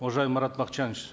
уважаемый марат бакытжанович